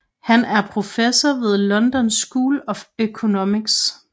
Han er professor ved London School of Economics